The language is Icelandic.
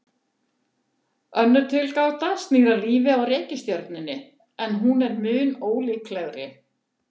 Önnur tilgáta snýr að lífi á reikistjörnunni, en hún er mun ólíklegri.